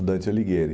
Dante Alighieri.